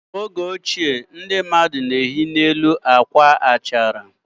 N'oge ochie ndị mmadụ na-ehi n'elu akwa achara.